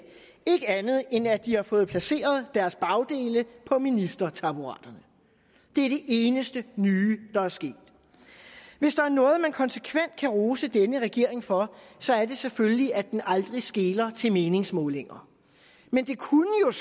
andet end at de har fået placeret deres bagdele på ministertaburetterne det er det eneste nye der er sket hvis der er noget man konsekvent kan rose denne regering for så er det selvfølgelig at den aldrig skeler til meningsmålinger men det kunne